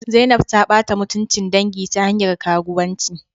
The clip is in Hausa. Zainab ta bata mutuncin dangi ta hanyar karuwanci